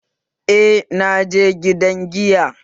Eh, naje gidan giya